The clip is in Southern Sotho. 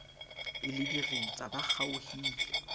e le diritsa ba kgaohile